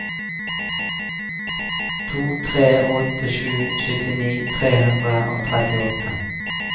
to tre åtte sju syttini tre hundre og trettiåtte